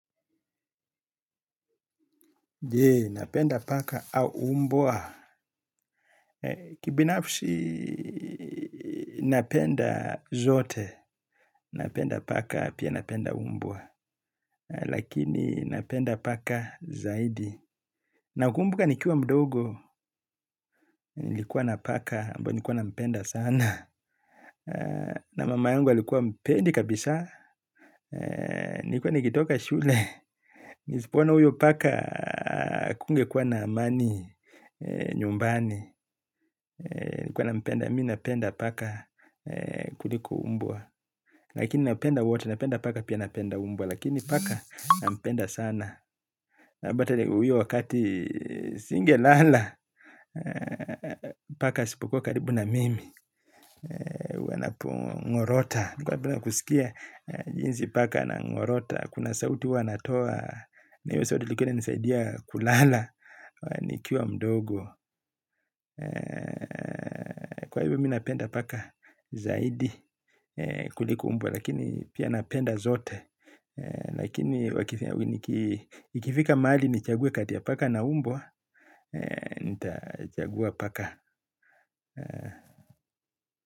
Je, napenda paka au umbwa. Kibinafsi, napenda zote. Napenda paka, pia napenda umbwa. Lakini, napenda paka zaidi. Nakumbuka nikiwa mdogo, nilikuwa na paka, ambao nilikuwa nampenda sana. Na mama yangu alikuwa hampendi kabisa, nilikuwa nikitoka shule. Nisipo ona huyo paka, hakungekuwa na amani, nyumbani. Nilikuwa nampenda, mi napenda paka kuliko mbwa. Lakini napenda wote, napenda paka, pia napenda mbwa. Lakini paka, napenda sana. Bata hiyo wakati singelala. Paka asipokua karibu na mimi anapo ng'orota nilikuwa napenda kusikia jinsi paka anang'orota. Kuna sauti huwa anatoa. Na hiyo sauti ilikuwa ina nisaidia kulala. Nikiwa mdogo kwa hiyo mimi napenda paka zaidi kuliko umbwa. Lakini pia napenda zote. Lakini ikifika mahali nichague kati ya paka na umbwa nitachagua paka.